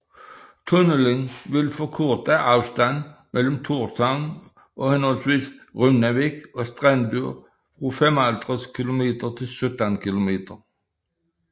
Tunnelen vil forkorte afstanden mellem Tórshavn og henholdsvis Runavík og Strendur fra 55 kilometer til 17 kilometer